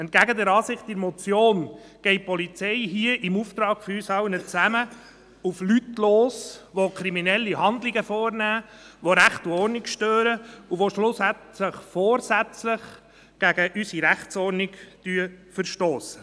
Entgegen der Ansicht in der Motion geht die Polizei hier im Auftrag von uns allen auf Leute los, die kriminelle Handlungen vornehmen, die Recht und Ordnung stören und die schlussendlich vorsätzlich gegen unsere Rechtsordnung verstossen.